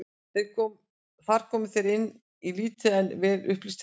Þar komu þeir inn í lítið en vel upplýst herbergi.